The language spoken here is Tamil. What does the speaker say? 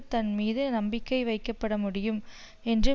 தன் மீது நம்பிக்கை வைக்கப்பட முடியும் என்று